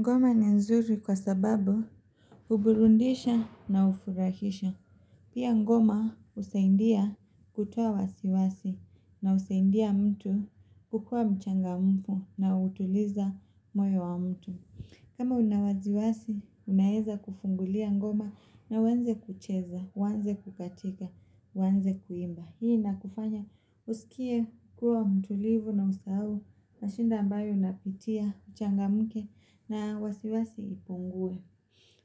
Ngoma ni nzuri kwa sababu Ubulundisha na ufurahisha Pia ngoma usaindia kutoa wasiwasi na usaindia mtu kukua mchanga mfu na utuliza moyo wa mtu kama unawaziwasi, unaeza kufungulia ngoma na uanze kucheza, uanze kukatika, uanze kuimba Hii ina kufanya usikie kuwa mtulivu na usahau Mashinda ambayo napitia, uchanga mke na wasiwasi ipungue